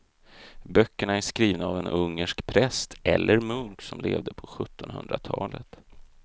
Böckerna är skrivna av en ungersk präst eller munk som levde på sjuttonhundratalet.